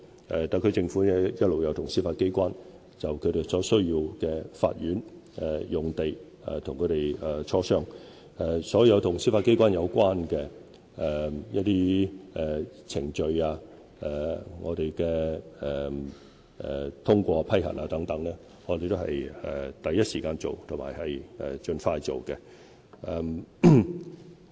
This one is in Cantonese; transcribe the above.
特區政府一直與司法機關就其所需的法院用地進行磋商，所有與司法機關有關的程序及通過批核等工作，我們都是第一時間盡快處理的。